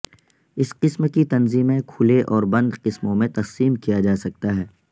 اس قسم کی تنظیمیں کھلے اور بند قسموں میں تقسیم کیا جا سکتا ہے